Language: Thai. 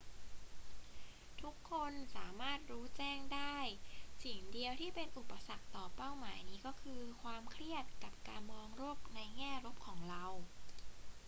ทุกคนสามารถรู้แจ้งได้ สิ่งเดียวที่เป็นอุปสรรคต่อเป้าหมายนี้ก็คือความเครียดกับการมองโลกในแง่ลบของเรา